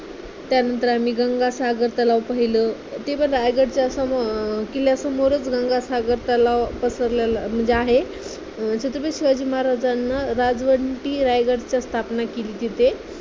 त्यानंतर आम्ही गंगासागर तलाव पाहिलो, ते पण रायगडच्यासमोर अं किल्ल्यासमोरच गंगासागर तलाव पसरलेला म्हणजे आहे. तिथे शिवाजी महाराजांना राजवंटी रायगडचा स्थापना केली. तिथे